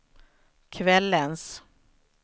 kvällens